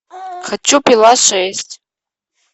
хочу пила шесть